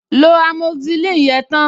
Lo amoxicillin yẹn tán!